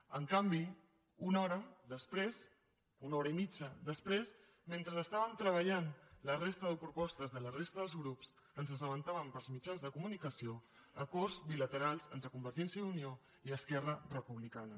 en canvi una hora després una hora i mitja després mentre estàvem treballant la resta de propostes de la resta dels grups ens assabentàvem pels mitjans de comunicació d’acords bilaterals entre convergència i unió i esquerra republicana